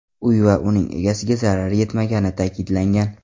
Uy va uning egasiga zarar yetmagani ta’kidlangan.